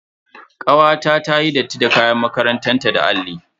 Kawata tayi datti da kayan makarantan ta da alli.